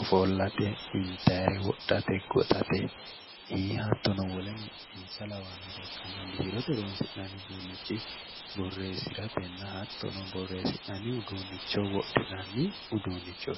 ofollate, intannire wodhate ikko ii'i hattonno wole insa labbannore ikkanna biirote horonsi'nanni uduunichi borreesiratenna hattonno borreesi'nanni uduunicho wodhinanni uduunichoti.